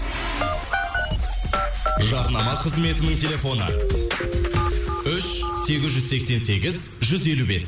жарнама қызметінің телефоны үш сегіз жүз сексен сегіз жүз елу бес